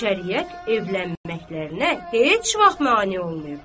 Şəriət evlənməkliklərinə heç vaxt mane olmayıbdır.